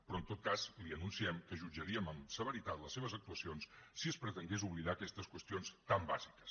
però en tot cas li anunciem que jutjaríem amb severitat les seves actuacions si es pretengués oblidar aquestes qüestions tan bàsiques